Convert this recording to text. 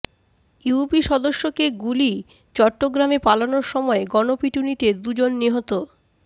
UP সদস্যকে গুলি চট্টগ্রামে পালানোর সময় গণপিটুনিতে দুজন নিহত